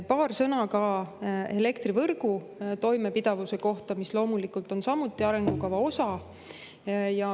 Paar sõna ka elektrivõrgu toimepidevuse kohta, mis loomulikult on samuti arengukava osa.